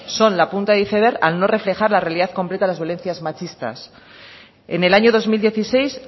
son la punta del iceberg al no reflejar la realidad completa a las violencias machistas en el año dos mil dieciséis